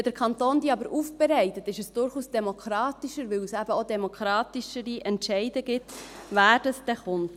Wenn der Kanton diese aber aufbereitet, ist es durchaus demokratischer, weil es eben auch demokratischere Entscheide gibt, wer dann kommt.